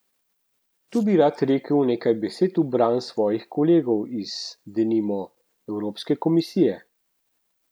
Tu bi rad rekel nekaj besed v bran svojih kolegov iz, denimo, evropske komisije.